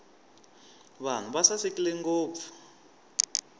vanhu va sasekile ngopfu